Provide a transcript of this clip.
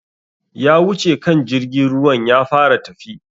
Ya wuce kan jirgin ruwan ya fara tafi